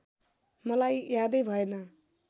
मलाई यादै भएन